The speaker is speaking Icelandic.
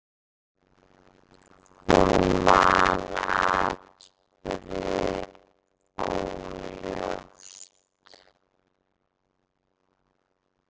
Hún man atburði óljóst.